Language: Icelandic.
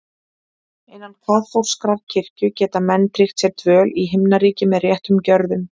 Innan kaþólskrar kirkju geta menn tryggt sér dvöl í Himnaríki með réttum gjörðum.